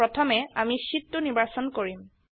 প্ৰথমে আমি শীট ২ নিৰ্বাচন কৰিম